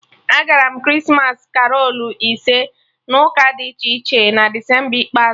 Agara m Krismas karolu ise n'ụka dị iche iche na Desemba ikpeazụ